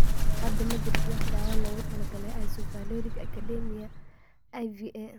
Hadda ma jirto wax daawo ah oo loogu talagalay isovaleric acidemia (IVA).